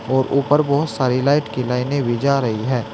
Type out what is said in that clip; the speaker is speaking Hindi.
और ऊपर बहोत सारी लाइट की लाइने भी जा रहे है।